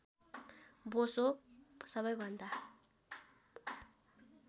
बोसो सबैभन्दा